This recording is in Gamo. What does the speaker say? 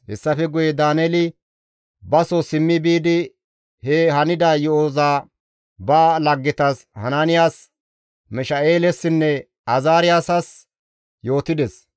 Hessafe guye Daaneeli baso simmi biidi he hanida yo7oza ba laggetas Hanaaniyas, Misha7eelessinne Azaariyaasas yootides.